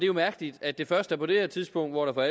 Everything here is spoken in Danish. jo mærkeligt at det først er på det her tidspunkt hvor der